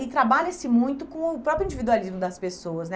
E trabalha-se muito com o próprio individualismo das pessoas, né?